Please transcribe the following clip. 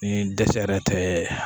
Ni dɛsɛ yɛrɛ tɛ